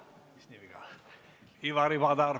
Ivari Padar, palun!